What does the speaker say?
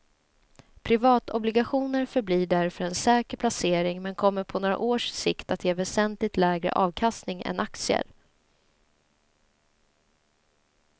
Privatobligationer förblir därför en säker placering men kommer på några års sikt att ge väsentligt lägre avkastning än aktier.